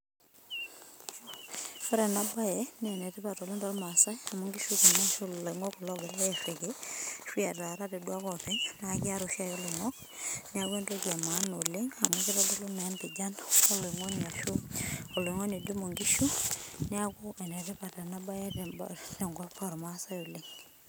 Ore ena bae naa enetipat oleng toormaasai amu nkishu ashuu ilongok kulo oogirai airiki ashuaa etaarate duake oopeny niaku kiara oshiake iloingok neaku entoki emaana oleng amu keitodolu naa empijan oloingoni ashuu oloingoni oidimu inkishu niaku enetipat ena bae tenkop oormaasai oleng